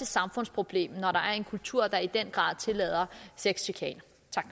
samfundsproblem når der er en kultur der i den grad tillader sexchikane